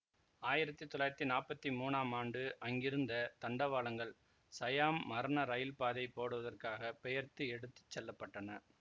ஆயிரத்தி தொள்ளாயிரத்தி நாப்பத்தி மூனாம் ஆண்டு அங்கிருந்த தண்டவாளங்கள் சயாம் மரண இரயில்பாதை போடுவதற்காகப் பெயர்த்து எடுத்து செல்லப்பட்டன